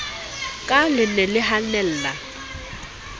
ka le ne le hanella